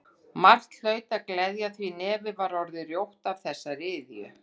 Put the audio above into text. Margt hlaut að gleðja því nefið var orðið rjótt af þessari iðju.